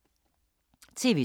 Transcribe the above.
TV 2